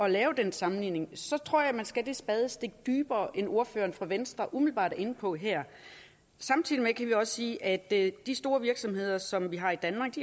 at lave den sammenligning tror jeg man skal det spadestik dybere end ordføreren fra venstre umiddelbart er inde på her samtidig kan vi også sige at de store virksomheder som vi har i danmark